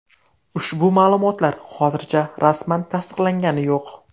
Ushbu ma’lumotlar hozircha rasman tasdiqlangani yo‘q.